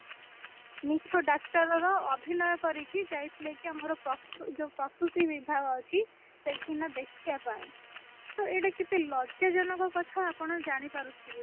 ମିଛ ଡାକ୍ତର ର ଅଭିନୟ କରିକି ଯାଇଥିଲେ କି ଆମର ପ୍ରସ୍ତୁ ଯୋଉ ପ୍ରସୁସ୍ତୀ ବିଭାଗ ଅଛି ସେଇଠିକିନା ଦେଖିବା ପାଇଁ ତ ଏଇଟା କେତେ ଲଜ୍ୟାଜନକ କଥା ଆପଣ ଜାଣିପାରୁଥିବେ